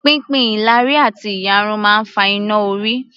Pínpín ìlàrí àti ìyarun máa ń fa iná-orí